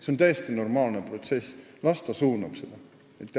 See on täiesti normaalne protsess – las ta suunab seda raha sinna.